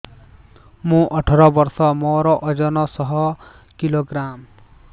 ମୁଁ ଅଠର ବର୍ଷ ମୋର ଓଜନ ଶହ କିଲୋଗ୍ରାମସ